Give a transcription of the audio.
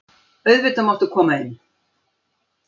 Auðvitað máttu koma inn.